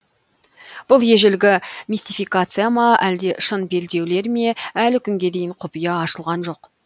бұл ежелгі мистификация ма әлде шын белдеулер ме әлі күнге дейін құпия ашылған жоқ